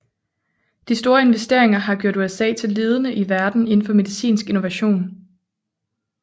De store investeringer har gjort USA til ledende i verden indenfor medicinsk innovation